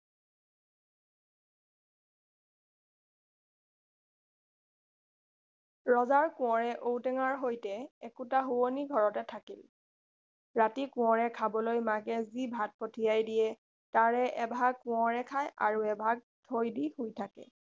ৰজাৰ কোঁৱৰে ঔ টেঙাৰ সৈতে একেটা শোৱনি ঘৰতে থাকিল ৰাতি কোঁৱৰে খাবলৈ মাকে যি ভাত পঠিয়াই দিয়ে তাৰে এভাগ কোঁৱৰে খায় আৰু এভাগ থৈ দি শুই থাকে